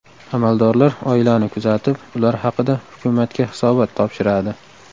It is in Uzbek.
Amaldorlar oilani kuzatib, ular haqida hukumatga hisobot topshiradi.